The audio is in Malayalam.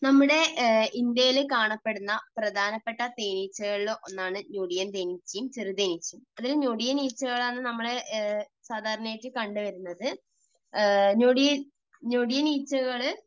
നമ്മുടെ ഇന്ത്യയിൽ കാണപ്പെടുന്ന പ്രധാനപ്പെട്ട തേനീച്ചകളിൽ ഒന്നാണ് ഞൊടിയൻ തേനീച്ചയും ചെറുതേനീച്ചയും. ഇതിൽ ഞൊടിയൻ ഈച്ചകളാണ് നമ്മൾ സാധാരണയായിട്ട് കണ്ടുവരുന്നത്. ഞൊടിയൻ, ഞൊടിയൻ ഈച്ചകൾ